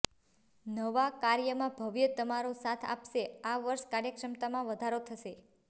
નવા કાર્યમાં ભવ્ય તમારો સાથ આપશે આ વર્ષ કાર્યક્ષમતામાં વધારો થશે